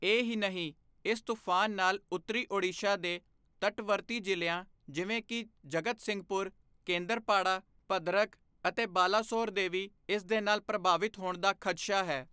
ਇਹ ਹੀ ਨਹੀਂ, ਇਸ ਤੂਫਾਨ ਨਾਲ ਉੱਤਰੀ ਓਡੀਸ਼ਾ ਦੇ ਤਟਵਰਤੀ ਜ਼ਿਲ੍ਹਿਆਂ ਜਿਵੇਂ ਕਿ ਜਗਤਸਿੰਘਪੁਰ, ਕੇਂਦਰਪਾੜਾ, ਭਦਰਕ ਅਤੇ ਬਾਲਾਸੋਰ ਦੇ ਵੀ ਇਸ ਦੇ ਨਾਲ ਪ੍ਰਭਾਵਿਤ ਹੋਣ ਦਾ ਖਦਸ਼ਾ ਹੈ।